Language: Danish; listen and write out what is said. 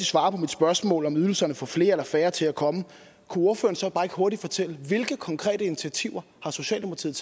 svare på mit spørgsmål om hvorvidt ydelserne får flere eller færre til at komme kunne ordføreren så ikke bare hurtigt fortælle hvilke konkrete initiativer socialdemokratiet